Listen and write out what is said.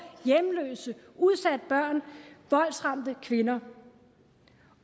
hjemløse udsatte børn voldsramte kvinder